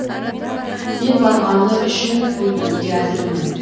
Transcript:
мен барғаны үшін өлтіруге әзірмін